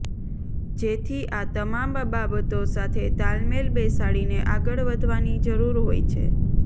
જેથી આ તમામ બાબતો સાથે તાલમેલ બેસાડીને આગળ વધવાની જરૂર હોય છે